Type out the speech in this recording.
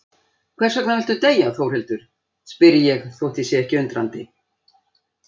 Hversvegna viltu deyja Þórhildur, spyr ég þótt ég sé ekki undrandi.